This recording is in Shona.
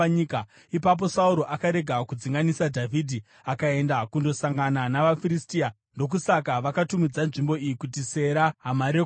Ipapo Sauro akarega kudzinganisa Dhavhidhi akaenda kundosangana navaFiristia. Ndokusaka vakatumidza nzvimbo iyi kuti Sera Hamarekoti.